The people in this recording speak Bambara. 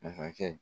Masakɛ